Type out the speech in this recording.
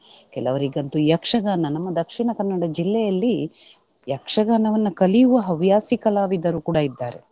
ಕೆಲವರಿಗಂತೂ ಯಕ್ಷಗಾನ ನಮ್ಮ ದಕ್ಷಿಣ ಕನ್ನಡ ಜಿಲ್ಲೆಯಲ್ಲಿ ಯಕ್ಷಗಾನವನ್ನ ಕಲಿಯುವ ಹವ್ಯಾಸಿ ಕಲಾವಿದರು ಕೂಡ ಇದ್ದಾರೆ.